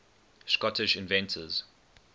scottish inventors